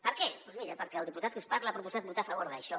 per què doncs mira perquè el diputat que us parla ha proposat votar a favor d’això